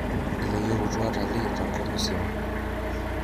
Iloyietu watalii tenkop musima.